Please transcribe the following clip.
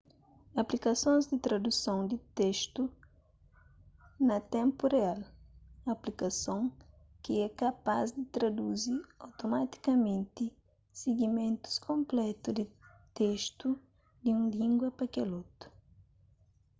aplikasons di traduson di testu na ténpu real aplikason ki é kapaz di traduzi otomatikamenti sigimentus konplétu di testu di un língua pa kel otu